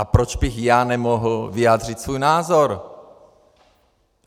A proč bych já nemohl vyjádřit svůj názor?